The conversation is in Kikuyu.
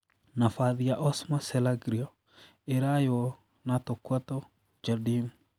Nabathi ya Osmar Serraglio iraywo na Torquato Jardim.